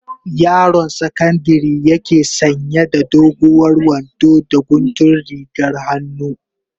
Yaron sakandari yake sanya da doguwar wando da guntun rigar hannu.